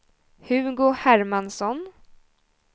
Hugo Hermansson